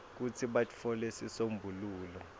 kutsi batfole sisombululo